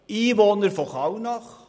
Ich bin Einwohner von Kallnach.